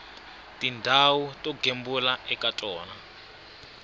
tindhawu to gembula eka tona